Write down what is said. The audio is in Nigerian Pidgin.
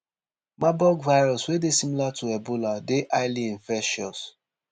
marburg virus wey dey similar to ebola dey highly infectious